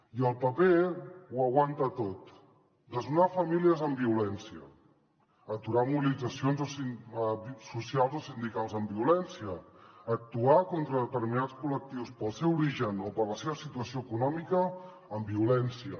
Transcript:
i el paper ho aguanta tot desnonar famílies amb violència aturar mobilitzacions socials o sindicals amb violència actuar contra determinats col·lectius pel seu origen o per la seva situació econòmica amb violència